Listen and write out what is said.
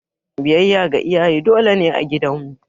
Biyayya ga iyaye dole ne a gidan mu.